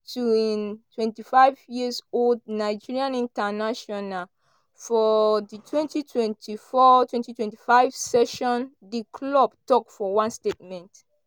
to twenty fiveyears-old nigerian international for di twenty twenty four twenty twenty five session di club tok for one statement.